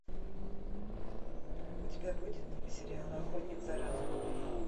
у тебя будет сериал охотник за разумом